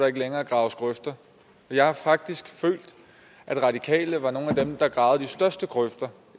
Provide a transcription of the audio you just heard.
ikke længere graves grøfter jeg har faktisk følt at de radikale var nogle af dem der gravede de største grøfter